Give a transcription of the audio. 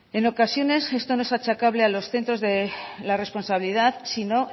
en ocasiones esto no es achacable a los centros la responsabilidad sino